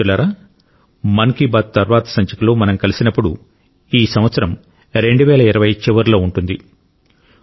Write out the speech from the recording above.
మిత్రులారా మన్ కీ బాత్ తర్వాతి సంచికలో మనం కలిసినప్పుడు ఈ సంవత్సరం 2020 చివరిలో ఉంటుంది